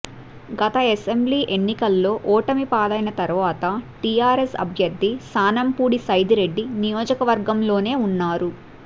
గత అసెంబ్లీ ఎన్నికల్లో ఓటమి పాలైన తర్వాత టీఆర్ఎస్ అభ్యర్ధి శానంపూడి సైదిరెడ్డి నియోజకవర్గంలోనే ఉన్నారు